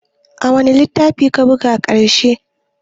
Wane littafi ka buga ƙarshe?